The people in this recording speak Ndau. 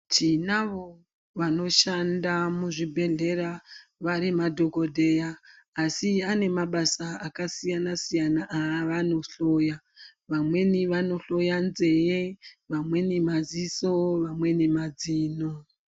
Tinavo vanoshanda muzvibhedhlera vari madhokodheya asi vane mabasa akasiyana siyana avanohloya vamweni vanohloya nzeve, vamweni madziso, vamweni mazino.